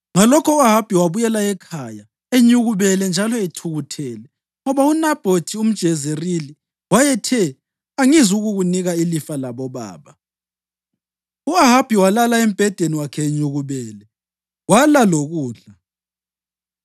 Ngalokho u-Ahabi wabuyela ekhaya enyukubele njalo ethukuthele ngoba uNabhothi umJezerili wayethe, “Angizukukunika ilifa labobaba.” U-Ahabi walala embhedeni enyukubele wala lokudla.